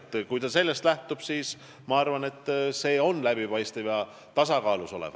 Kui väljaanne sellest lähtub, siis ma arvan, et kõik on läbipaistev ja tasakaalus.